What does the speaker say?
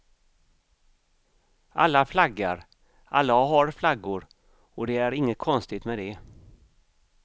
Alla flaggar, alla har flaggor, och det är inget konstigt med det.